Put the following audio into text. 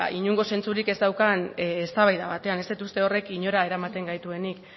inongo zentzurik ez daukan eztabaida batean ez dut uste horrek inora eramaten gaituenik